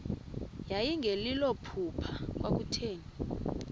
yayingelilo phupha kwakutheni